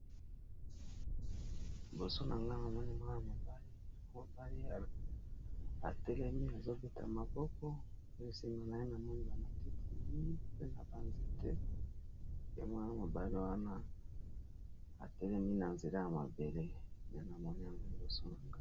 Liboso nanga mwana mobali atelemi azo beta maboko pe nasima na ye namoni ba matiti mingi pe na ba nzete ya mwana mobali wana atelemi na nzela ya mabele yango nazomona liboso nanga.